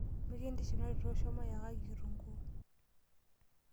Mikintiship natito shomo yakaki kitunguu.